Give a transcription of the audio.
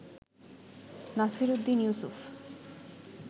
Nasir Uddin Yusuf